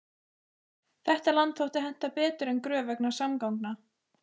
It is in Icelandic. Þetta land þótti henta betur en Gröf vegna samgangna.